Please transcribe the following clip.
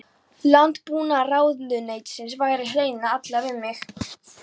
Landbúnaðarráðuneytisins væri hreinlega illa við mig!